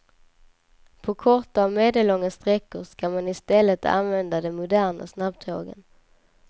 På korta och medellånga sträckor ska man i stället använda de moderna snabbtågen.